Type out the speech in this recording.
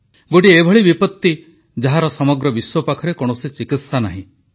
ଗୋଟିଏ ଏଭଳି ବିପତି ଯାହାର ସମଗ୍ର ବିଶ୍ୱ ପାଖରେ କୌଣସି ଚିକିତ୍ସା ନାହିଁ